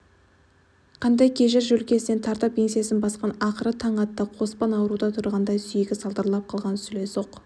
қандай кежір жөлкесінен тартып еңсесін басқан ақыры таң атты қоспан аурудан тұрғандай сүйегі салдырап қалған сүлесоқ